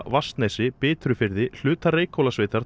Vatnsnesi Bitrufirði hluta